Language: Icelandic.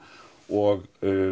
og